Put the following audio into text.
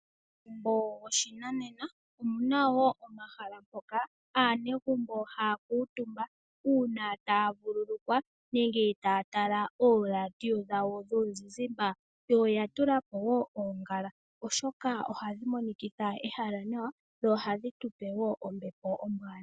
Momagumbo goshinanena omu na wo omahala mpoka aanegumbo haya kuutumba uuna taya kuutumba nenge taya tala ooradio dhawo dhomuzizimba. Oya tula po woo oongala, oshoka ohadhi monikitha ehala nawa dho ohadhi tu pe wo ombepo ombwaanawa.